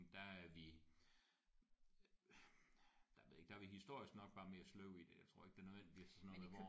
Der er vi der jeg ved ikke der er vi historisk nok bare mere sløve i det jeg tror ikke nødvendigvis er sådan noget med hvor